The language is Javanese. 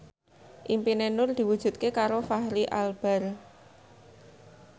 impine Nur diwujudke karo Fachri Albar